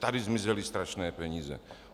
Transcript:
Tady zmizely strašné peníze."